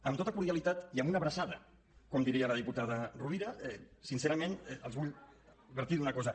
amb tota cordialitat i amb una abraçada com diria la diputada rovira sincerament els vull advertir d’una cosa